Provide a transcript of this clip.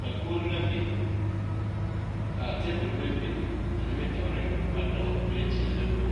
Dakogro la biŋ ka tabole meŋ biŋ a nimitooreŋ ka ba dɔgle plete ane bomma